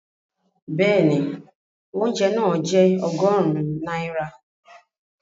Bẹ́ẹ̀ni, oúnjẹ náà jẹ́ ọgọ́rùn-ún náírà